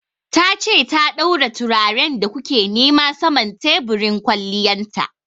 Ta ce ta daura turaren da ku ke nema saman teburin kwalliyan ta.